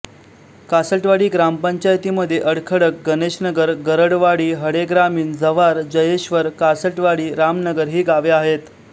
कासटवाडी ग्रामपंचायतीमध्ये अडखडक गणेशनगर गरडवाडी हडेग्रामीण जव्हार जयेश्वर कासटवाडीरामनगर ही गावे येतात